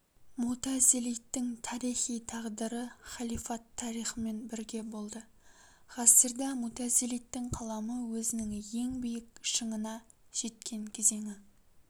мутазилиттің тарихи тағдыры халифат тарихымен бірге болды ғасырда мутазилиттің қаламы өзінің ең биік шыңына жеткен кезеңі